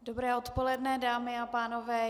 Dobré odpoledne, dámy a pánové.